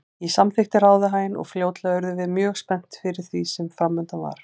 Ég samþykkti ráðahaginn og fljótlega urðum við mjög spennt yfir því sem framundan var.